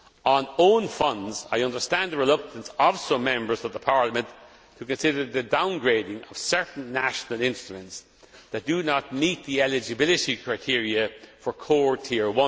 On own funds I understand the reluctance of some Members that Parliament could consider the downgrading of certain national instruments that do not meet the eligibility criteria for Core